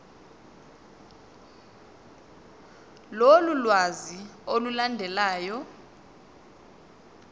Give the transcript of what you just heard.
lolu lwazi olulandelayo